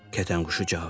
Kətənquşu cavab verdi.